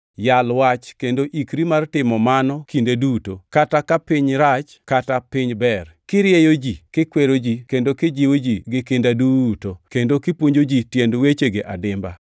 Yal Wach kendo ikri mar timo mano kinde duto, kata ka piny rach kata ka piny ber, kirieyo ji, kikwero ji, kendo kijiwo ji gi kinda duto, kendo kipuonjo ji tiend wechegi adimba.